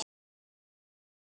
Pétur Þór.